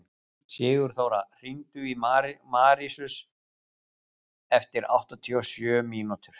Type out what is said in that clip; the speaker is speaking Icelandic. Sigurþóra, hringdu í Marsíus eftir áttatíu og sjö mínútur.